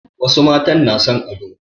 Wasu matan na son ado.